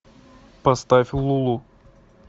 поставь лулу